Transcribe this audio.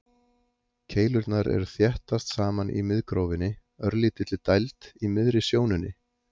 Keilurnar eru þéttast saman í miðgrófinni, örlítilli dæld í miðri sjónunni.